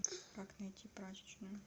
как найти прачечную